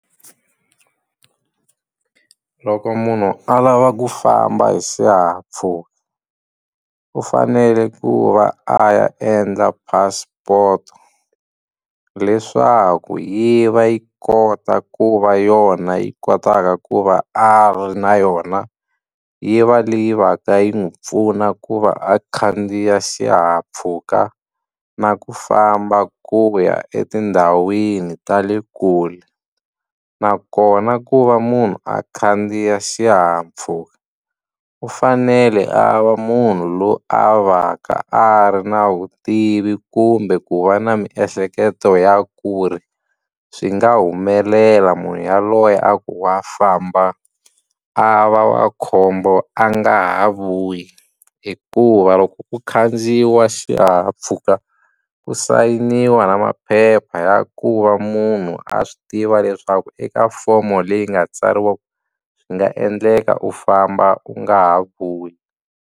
Loko munhu a lava ku famba hi xihahampfhuka u fanele ku va a ya endla passport-o leswaku yi va yi kota ku va yona yi kotaka ku va a ri na yona yi va leyi va ka yi n'wi pfuna ku va a khandziya xihahampfhuka na ku famba ku ya etindhawini ta le kule nakona ku va munhu a khandziya xihahampfhuka u fanele a va munhu loyi a va ka a ri na vutivi kumbe ku va na miehleketo ya ku ri swi nga humelela munhu yaloye a ku wa famba a va wa khombo a nga ha vuyi hikuva loko ku khandziyiwa xihahampfhuka ku sayiniwa na maphepha ya ku va munhu a swi tiva leswaku eka fomo leyi nga tsariwa swi nga endleka u famba u nga ha vuyi.